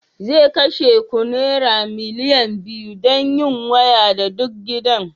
zai kashe ku naira miliyan biyu don yin waya da duk gidan